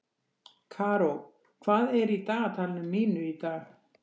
Karó, hvað er í dagatalinu mínu í dag?